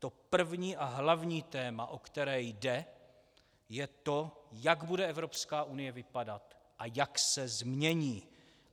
To první a hlavní téma, o které jde, je to, jak bude Evropská unie vypadat a jak se změní.